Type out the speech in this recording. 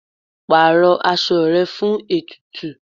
Pàrọ aṣọ rẹ fún ètùtù.